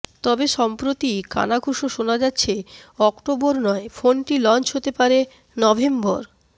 তবে সম্প্রতি কানাঘুষো শোনা যাচ্ছে অক্টোবর নয় ফোনটি লঞ্চ হতে পারে নভেম্বর